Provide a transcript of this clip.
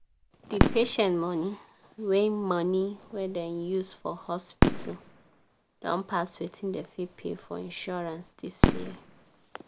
di patient money wey money wey dem use for hospital don pass wetin dem fit pay for insurance dis year.